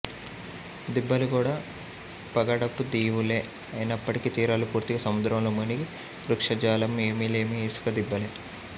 దిబ్బలు కూడా పగడపు దీవులే అయినప్పటికీ తీరాలు పూర్తిగా సముద్రంలో మునిగి వృక్షజాలం ఏమీలేని ఇసుక దిబ్బలే